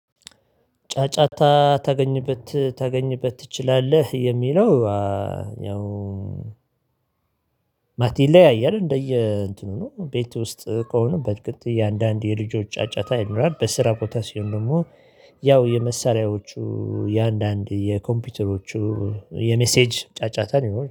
ጫጫታ ታገኝበት ታገኝበት ትችላለህ የሚለው። ያው ማለቴ ይለያያል እንደየ እንትኑ ነው። ቤት ውስጥ ከሆነ በጥቂት እያንዳንዱ የልጆች ጫጫታ ይኖራል። በስራ ቦታ ሲሆን ደግሞ ያው የመሳሪያዎቹ የአንዳንድ የኮምፒውተሮቹ የመሴጅ ጫጫታ ሊኖር